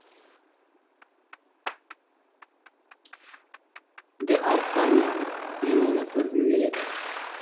д артаньян мен оны көргім келеді